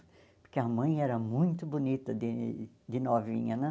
Porque a mãe era muito bonita de de novinha, né?